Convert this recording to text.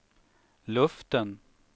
luften